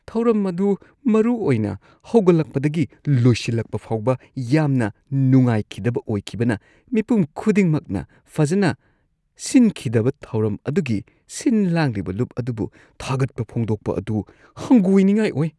ꯊꯧꯔꯝ ꯑꯗꯨ ꯃꯔꯨꯑꯣꯏꯅ ꯍꯧꯒꯠꯂꯛꯄꯗꯒꯤ ꯂꯣꯏꯁꯤꯜꯂꯛꯄ ꯐꯥꯎꯕ ꯌꯥꯝꯅ ꯅꯨꯡꯥꯏꯈꯤꯗꯕ ꯑꯣꯏꯈꯤꯕꯅ ꯃꯤꯄꯨꯝ ꯈꯨꯗꯤꯡꯃꯛꯅ ꯐꯖꯅ ꯁꯤꯟꯈꯤꯗꯕ ꯊꯧꯔꯝ ꯑꯗꯨꯒꯤ ꯁꯤꯟ-ꯂꯥꯡꯂꯤꯕ ꯂꯨꯞ ꯑꯗꯨꯕꯨ ꯊꯥꯒꯠꯄ ꯐꯣꯡꯗꯣꯛꯄ ꯑꯗꯨ ꯍꯪꯒꯣꯏꯅꯤꯡꯉꯥꯏ ꯑꯣꯏ ꯫